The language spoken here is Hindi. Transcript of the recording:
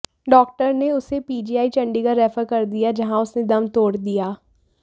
डाक्टर ने उसे पीजीआई चंडीगढ़ रेफर कर दिया जहां उसने दम तोड़ दिया